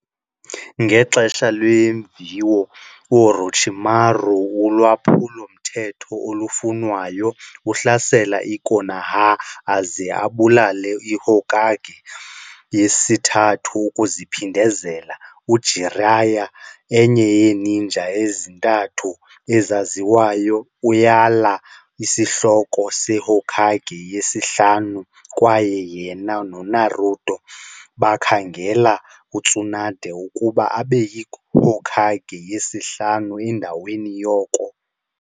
Ngexesha leemviwo, uOrochimaru, ulwaphulo-mthetho olufunwayo, uhlasela i-Konoha aze abulale i-Hokage yesiThathu ukuziphindezela. UJiraiya, enye yeeninja ezintathu ezaziwayo, uyala isihloko seHokage yesihlanu kwaye yena noNaruto bakhangele uTsunade ukuba abe yiHokage yesihlanu endaweni yoko.